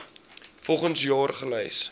volgens jaar gelys